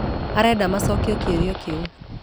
Arenda macokie kĩũria kĩu